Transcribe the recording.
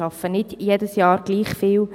Sie arbeiten nicht jedes Jahr gleich viel.